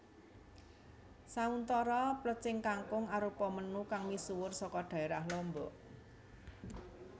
Sauntara plecing kangkung arupa menu kang misuwur saka dhaérah Lombok